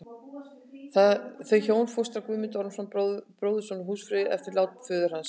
Þau hjón fóstra Guðmund Ormsson, bróðurson húsfreyju, eftir lát föður hans.